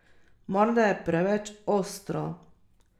Morda je preveč ostro.